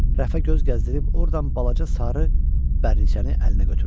Rəfə göz gəzdirib ordan balaca sarı bərniçəni əlinə götürdü.